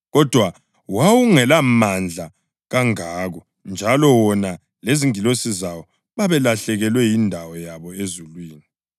Kodwa wawungelamandla kangako njalo wona lezingilosi zawo balahlekelwa yindawo yabo ezulwini.